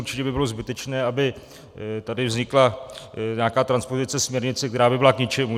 Určitě by bylo zbytečné, aby tady vznikla nějaká transpozice směrnice, která by byla k ničemu.